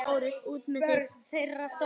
LÁRUS: Út með það!